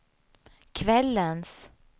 kvällens